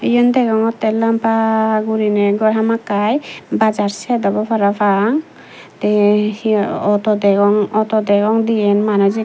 iyen degongotte lamba guriney gor hamakkai bazaar sed obow parapang te he ey auto degong auto degong diyen manuj ikko.